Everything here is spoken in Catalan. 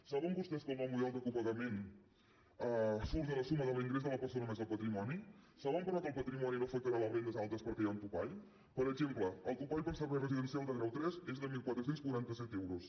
saben vostès que el nou model de copagament surt de la suma de l’ingrés de la persona més el patrimoni saben però que el patrimoni no afectarà les rendes altes perquè hi ha un topall per exemple el topall per servei residencial de grau tres és de catorze quaranta set euros